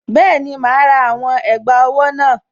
Bẹ́ẹ̀ni, màá rà àwọn ẹ̀gbà owó náà